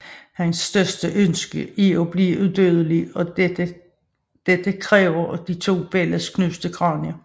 Hans største ønske er at blive uddødelig og dette kræver de to børns knuste kranier